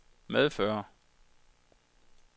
medfører